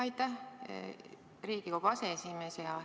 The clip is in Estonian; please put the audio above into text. Aitäh, Riigikogu aseesimees!